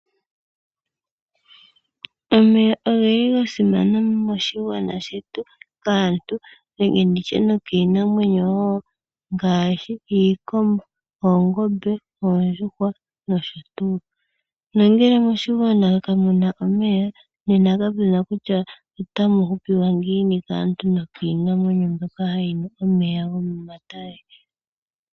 Omeya oge li ga simana moshigwana shetu kaantu nenge ndi tye nokiinamwenyo wo ngaashi iikombo, oongombe, oondjuhwa nosho tuu. Nongele moshigwana kamu na omeya, nena kamu na kutya otamu hupiwa ngiini kaantu nokiinamwenyo mbyoka hayi nu omeya gokomatale.